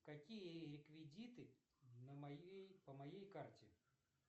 какие реквизиты на моей по моей карте